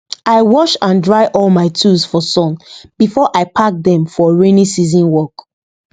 i wash and dry all my tools for sun before i pack dem for rainy season work